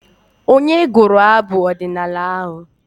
Onye gụrụ abụ ọdịnaala ahụ?